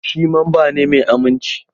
Shi mamba ne mai aminci.